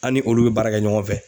An' ni olu be baara kɛ ɲɔgɔn fɛ.